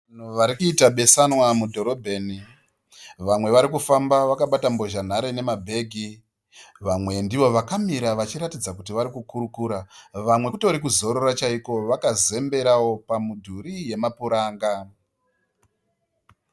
Varikuita besana mudhorobheni . Vamwe varikufamba vakabata mbozha nhare nemabhegi, vamwe ndivo vakamira vachiratidza kuti varikukurukura, vamwe kutori kuzorora chaiko vakazemberawo pamidhuri yemapuranga.